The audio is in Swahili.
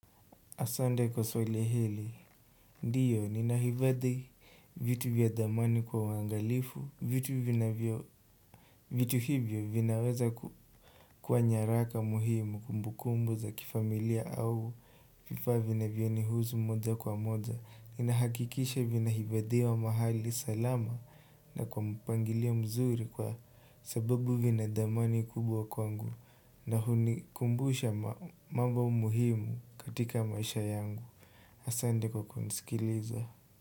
Asande kwa swali hili, ndiyo, nina hifadhi vitu vya dhamani kwa wangalifu vitu vinavyo vitu hivyo vinaweza kuwa nyaraka muhimu kumbu kumbu za kifamilia au, vifaa vinavyo nihusu moja kwa moja, nina hakikisha vina hifadhiwa mahali salama na kwa mpangilio mzuri kwa sababu vina dhamani kubwa kwangu na hunikumbusha mambo muhimu katika maisha yangu. Asande kwa kunisikiliza.